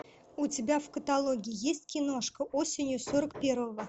у тебя в каталоге есть киношка осенью сорок первого